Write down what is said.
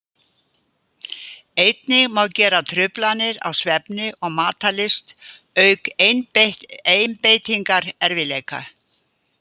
Einnig má greina truflanir á svefni og matarlyst auk einbeitingarerfiðleika.